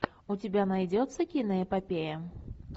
у тебя найдется киноэпопея